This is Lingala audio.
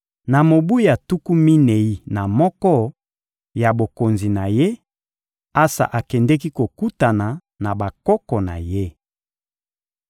Na mobu ya tuku minei na moko ya bokonzi na ye, Asa akendeki kokutana na bakoko na ye.